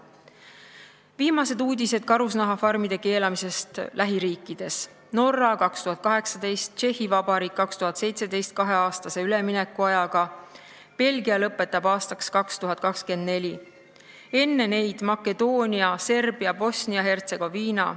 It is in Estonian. Viimased uudised karusloomafarmide keelustamise kohta lähiriikides: Norra – 2018, Tšehhi Vabariik – 2017 kaheaastase üleminekuajaga, Belgia lõpetab aastaks 2024, enne neid Makedoonia, Serbia, Bosnia ja Hertsegoviina.